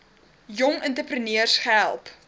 jong entrepreneurs gehelp